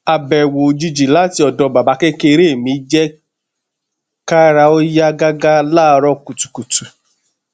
abẹwo ojiji lati ọdọ babakekere mi jẹ kara o ya gaga laaarọ kutukutu